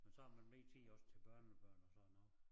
Men så har man mere tid også til børnebørn og sådan noget